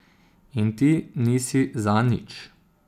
In ti nisi za nič.